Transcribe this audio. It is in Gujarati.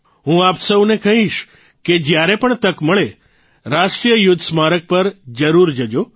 હું આપ સૌને કહીશ કે જયારે પણ તક મળે રાષ્ટ્રીય યુદ્ધ સ્મારક પર જરૂર જજો